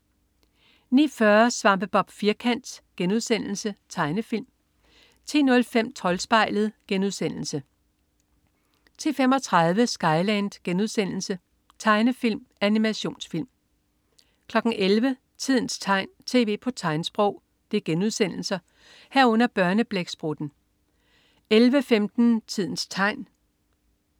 09.40 Svampebob Firkant.* Tegnefilm 10.05 Troldspejlet* 10.35 Skyland.* Tegnefilm/Animationsfilm 11.00 Tidens tegn, tv på tegnsprog* 11.00 Børneblæksprutten* 11.15 Tidens tegn*